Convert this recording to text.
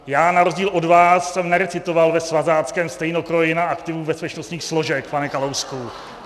Já na rozdíl od vás jsem nerecitoval ve svazáckém stejnokroji na aktivu bezpečnostních složek, pane Kalousku.